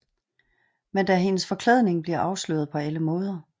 Men da hendes forklædning bliver afsløret på alle måder